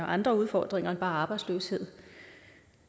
andre udfordringer end bare arbejdsløshed